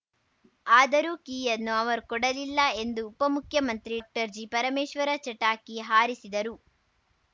ಆದರೂ ಕೀಯನ್ನು ಅವರು ಕೊಡಲಿಲ್ಲ ಎಂದು ಉಪಮುಖ್ಯಮಂತ್ರಿ ಟ್ರ್ಜಿಪರಮೇಶ್ವರ್‌ ಚಟಾಕಿ ಹಾರಿಸಿದರು